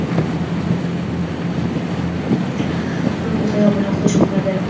unga tayoq bilan hujum qiladi.